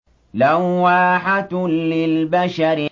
لَوَّاحَةٌ لِّلْبَشَرِ